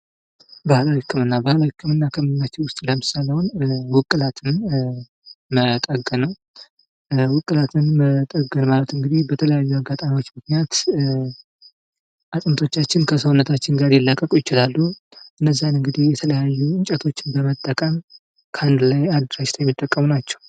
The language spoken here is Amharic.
ባህላዊ ህክምና:-ባህላዊ ህክም ከምንላቸው ውስጥ ለምሳሌ ውቅላት መጠገን ውቅላትን መጠገን ማለት እንግዲህ በተለያዩ አጋጣሚዎች ምክንያት አጥንቶቻችን ከሰውነታችን ጋር ሊላቀቁ ይችላሉ። እነዚያን እንግዲህ የተለያዩ እንጨቶችን በመጠቀም ከአንድ ላይ አጃጅተው የሚጠቀሙ ናቸው።